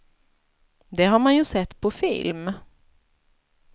Det har man ju sett på film.